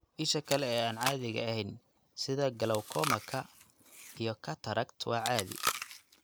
Isha kale ee aan caadiga ahayn sida glaucomaka iyo cataract waa caadi.